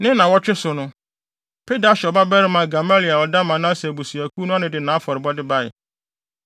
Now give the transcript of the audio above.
Ne nnaawɔtwe so no, Pedahsur babarima Gamaliel a ɔda Manase abusuakuw ano no de nʼafɔrebɔde bae.